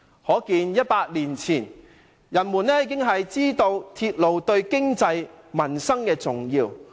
"可見早在100年前，人們已知道鐵路對經濟、民生的重要性。